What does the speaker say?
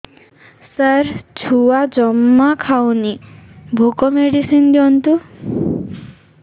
ସାର ଛୁଆ ଜମା ଖାଉନି ଭୋକ ମେଡିସିନ ଦିଅନ୍ତୁ